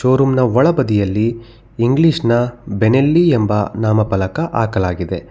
ಒ room ನ ಒಳ ಬದಿಯಲ್ಲಿ ಇಂಗ್ಲಿಷ್ ನ ಬೇನೆಲ್ಲಿ ಎಂಬ ನಾಮಪಲಕ ಆಕಲಾಗಿದೆ.